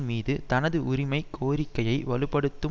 மீது தனது உரிமை கோரிக்கையை வலு படுத்தும்